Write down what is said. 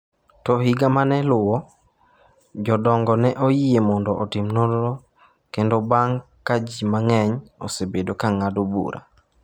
To higa mane luwo, jodongo ne oyie mondo otim nonro kendo bang’ ka ji mang’eny osebedo ka ng’ado bura.